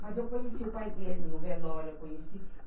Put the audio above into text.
Mas eu conheci o pai dele no velório, eu conheci.